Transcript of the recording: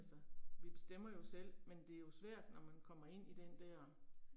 Altså, vi bestemmer jo selv, men det er jo svært når man kommer ind i den der